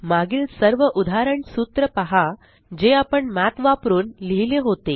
मागील सर्व उदाहरण सूत्र पहा जे आपण मठ वापरुन लिहिले होते